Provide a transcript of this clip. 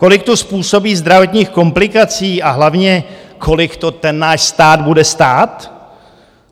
Kolik to způsobí zdravotních komplikací a hlavně kolik to ten náš stát bude stát?